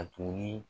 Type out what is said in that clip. A tuguni